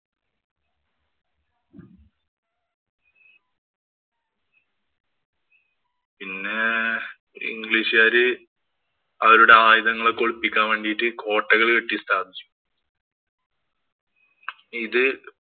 പിന്നെ ഇംഗ്ലീഷുകാര് അവരുടെ ആയുധങ്ങളൊക്കെ ഒളിപ്പിക്കാന്‍ വേണ്ടീട്ട് കോട്ടകള്‍ കെട്ടിയിട്ടുണ്ടാ ഇത്